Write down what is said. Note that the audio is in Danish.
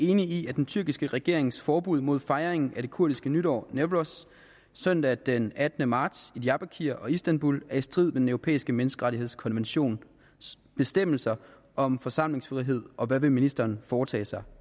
enig i at den tyrkiske regerings forbud mod fejring af det kurdiske nytår newroz søndag den attende marts i diyarbarkir og istanbul er i strid med den europæiske menneskerettighedskonventions bestemmelser om forsamlingsfrihed og hvad vil ministeren foretage sig